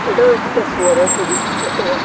এটাও একটা ফোয়ারার ছবি একটা ওয়াটা--